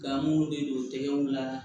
Ka mun de don tɛgɛw la